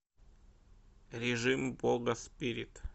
режим бога спирит